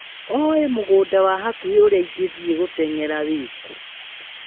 Olĩ mũgũnda wa hakuhĩ ũrĩa ingĩthiĩ gũteng'era wĩkũ?